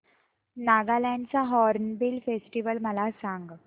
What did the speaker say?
नागालँड चा hornbill festival मला सांग